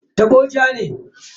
Tabo ja ne.